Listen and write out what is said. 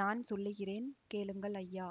நான் சொல்லுகிறேன் கேளுங்கள் ஐயா